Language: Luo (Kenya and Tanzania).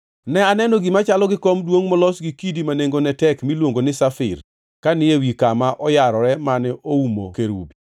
Ne aneno gima chalo gi kom duongʼ molos gi kidi ma nengone tek miluongo ni safir ka ni ewi kama oyarore mane oumo kerubi.